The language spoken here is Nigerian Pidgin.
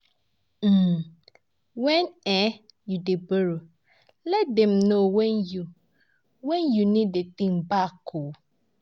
um When um you dey borrow, let dem know when you when you need the thing back o